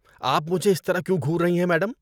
آپ مجھے اس طرح کیوں گھور رہی ہیں میڈم؟